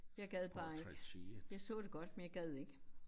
Jeg gad bare ikke. Jeg så det godt men jeg gad ikke